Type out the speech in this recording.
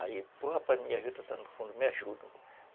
Aí, porra, rapaz, minha juta está no fundo, me ajuda.